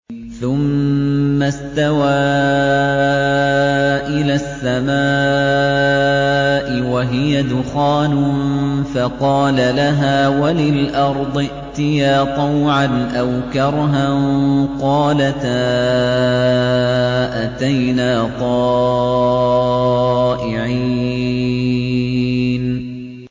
ثُمَّ اسْتَوَىٰ إِلَى السَّمَاءِ وَهِيَ دُخَانٌ فَقَالَ لَهَا وَلِلْأَرْضِ ائْتِيَا طَوْعًا أَوْ كَرْهًا قَالَتَا أَتَيْنَا طَائِعِينَ